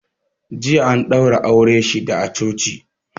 Jiya an daura aure shida a coci